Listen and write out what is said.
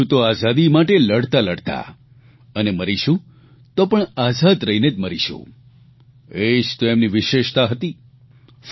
જીવશું તો આઝાદી માટે લડતા લડતા અને મરીશું તો પણ આઝાદ રહીને જ મરીશું એ જ તો એમની વિશેષતા હતી